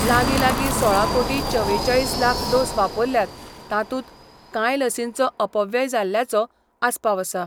लागीं लागीं सोळा कोटी चवेचाळीस लाख डोस वापरल्यात तांतूत काय लसींचो अपव्यय जाल्ल्याचो आस्पाव आसा.